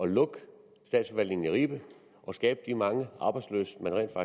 at lukke statsforvaltningen i ribe og skabe de mange arbejdsløse man rent